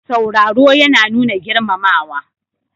Sauraro yana nuna girmamawa.